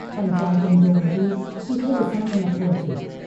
पंचायतुन जो वजूद किथे डिसण में न थो अचे।